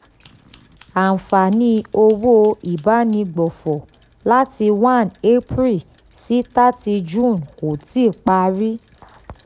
àǹfààní owó ìbánigbófò láti one april sí thirty june kò tíì parí.